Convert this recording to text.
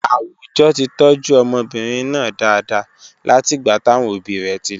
Àwùjọ ti tọ́jú ọmọbìnrin náà dáadáa látìgbà táwọn òbí rẹ̀ ti lọ.